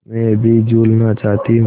मैं अभी झूलना चाहती हूँ